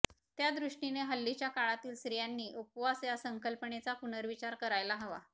त्या दृष्टीने हल्लीच्या काळातील स्त्रियांनी उपवास या संकल्पनेचा पुनर्विचार करायला हवा